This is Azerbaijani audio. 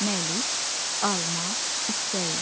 Məlik, alma istəyir.